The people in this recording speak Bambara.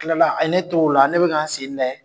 Tila la, a ne to o la ne bɛ ka ni sen lajɛ.